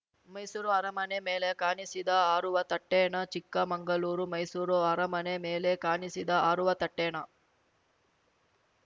okay Mysuru ಅರಮನೆ ಮೇಲೆ ಕಾಣಿಸಿದ್ದ ಹಾರುವ ತಟ್ಟೆನಾ ಚಿಕ್ಕಮಂಗಳೂರು ಮೈಸೂರು ಅರಮನೆ ಮೇಲೆ ಕಾಣಿಸಿದ್ದ ಹಾರುವ ತಟ್ಟೆನಾ